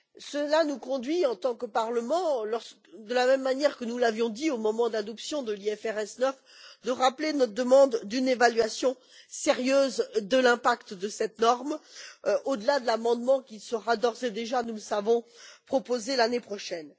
Cela nous conduit, en tant que Parlement, de la même manière que nous l'avions dit au moment de l'adoption de l'IFRS 9, à rappeler notre demande d'une évaluation sérieuse de l'impact de cette norme, au delà de l'amendement qui sera d'ores et déjà, nous le savons, proposé l'année prochaine.